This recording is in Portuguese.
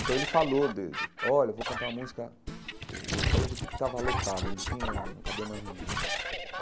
Então ele falou de dele, olha, vou cantar uma música... O o Colégio Equipe estava lotado, não tinha não cabia mais ninguém.